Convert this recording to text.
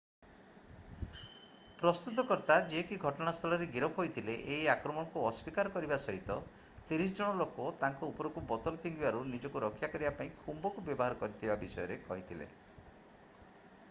ପ୍ରସ୍ତୁତକର୍ତ୍ତା ଯିଏ କି ଘଟଣାସ୍ଥଳରେ ଗିରଫ ହୋଇଥିଲେ ଏହି ଆକ୍ରମଣକୁ ଅସ୍ଵୀକାର କରିବା ସହିତ 30 ଜଣ ଲୋକ ତାଙ୍କ ଉପରକୁ ବୋତଲ ଫିଙ୍ଗିବାରୁ ନିଜକୁ ରକ୍ଷା କରିବା ପାଇଁ ଖୁମ୍ବ କୁ ବ୍ୟବହାର କରିଥିବା କଥା କହିଥିଲେ